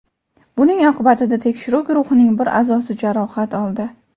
Buning oqibatida tekshiruv guruhining bir a’zosi jarohat oldi.